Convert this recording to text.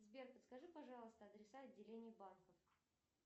сбер подскажи пожалуйста адреса отделений банков